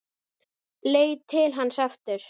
Leit til hans aftur.